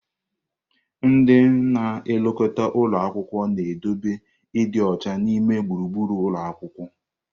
Ndị na-elekọta ụlọ akwụkwọ na-edobe ịdị ọcha n'ime gburugburu ụlọ akwụkwọ.